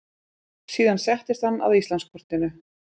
Síðan settist hann að Íslandskortinu.